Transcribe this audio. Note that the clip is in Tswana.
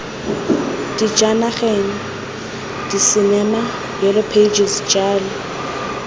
dijanageng disinema yellow pages jalo